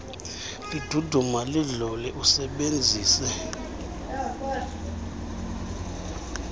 liduduma lidlule usebenzise